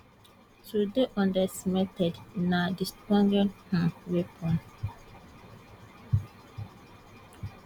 to dey underestimated na di strongest um weapon